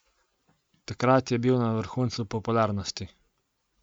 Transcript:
Takrat je bil na vrhuncu popularnosti.